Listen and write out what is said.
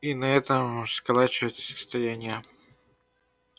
и на этом сколачиваются состояния